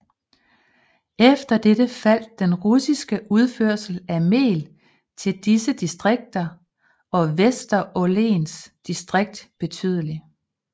Efter dette faldt den russiske udførsel af mel til disse distrikter og Vesterålens distrikt betydeligt